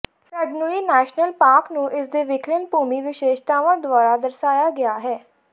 ਫੈਂਗਨੁਈ national park ਨੂੰ ਇਸਦੇ ਵਿਲੱਖਣ ਭੂਮੀ ਵਿਸ਼ੇਸ਼ਤਾਵਾਂ ਦੁਆਰਾ ਦਰਸਾਇਆ ਗਿਆ ਹੈ